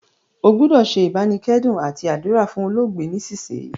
O gbúdò se ìbánikẹ́dùn àti àdúrà fún olóògbé nísinsìnyì